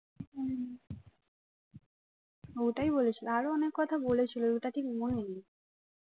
ওটাই বলেছে আরো অনেক কথা বলেছিল ওটা ঠিক মনে নেই